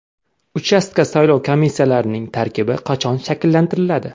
Uchastka saylov komissiyalarining tarkibi qachon shakllantiriladi?